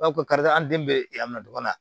karisa an den bɛ a minɛ dɔrɔn